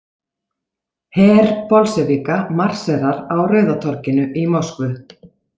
Her Bolsévíka marserar á Rauða torginu í Moskvu.